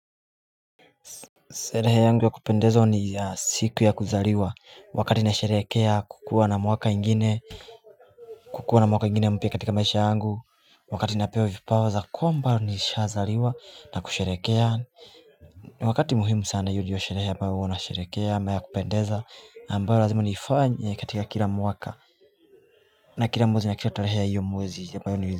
Sherehe yangu ya kupendeza ni siku ya kuzariwa wakati na sheherekea kukuwa na mwaka ingine kukuwa na mwaka ingine mpya katika maisha yangu Wakati napewa vipawaza kuwa mba nishazaliwa na kusherekea Wakati muhimu sana hiyo ndiyo sherehe ambayo huwa nasherekea naya kupendeza ambayo lazima nifanye katika kila mwaka na kila mwezi nikisha toleheaa iyo mwazi ya ambayo.